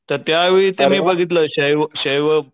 तर त्या वेळी ते मी बघितलं क्षेयव क्षेयवं